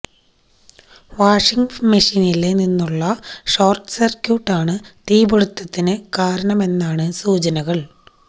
washing മെഷീനില് നിന്നുള്ള short സര്ക്യൂട്ടാണ് തീപിടുത്തത്തിന് കാരണമെന്നാണ് സൂചനകള്